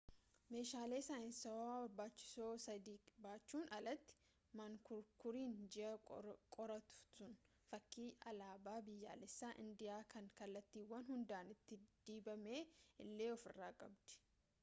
meeshaalee saayinsaawaa barbaachisoo sadii baachuun alatti mankuraakuriin ji'a qorattu sun fakkii alaabaa biyyaalessaa indiyaa kan kallattiiwwan hundaan itti dibame illee ofirraa qabdi